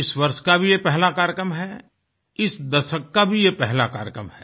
इस वर्ष का भी यह पहला कार्यक्रम है इस दशक का भी यह पहला कार्यक्रम है